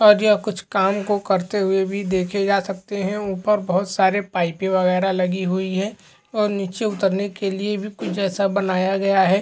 और यह कुछ काम को करते हुए भी देखे जा सकते है। ऊपर बहोत सारे पाइपे वगैरहलगी हुई हैं और नीचे उतरने के लिए भी कुछ ऐसा बनाया गया है।